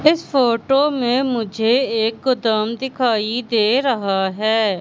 इस फोटो में मुझे एक गोदाम दिखाई दे रहा है।